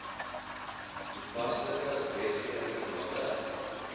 toepaslike wetgewing nadat